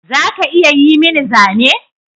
Za ka iya yi mini zane?